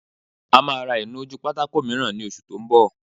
A máa ra ìnu-ojúpátákó mìíràn ní oṣù tó n bọ̀